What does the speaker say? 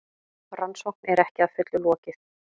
Rannsókn er ekki að fullu lokið